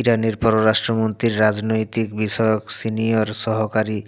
ইরানের পররাষ্ট্রমন্ত্রীর রাজনৈতিক বিষয়ক সিনিয়র সহকারী